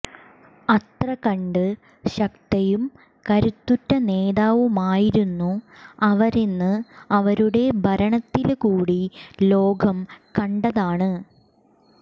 അത്രകണ്ട് ശക്തയും കരുത്തുറ്റ നേതാവുമായി രുന്നു അവരെന്ന് അവരുടെ ഭരണത്തില് കൂടി ലോകം കണ്ടതാണ്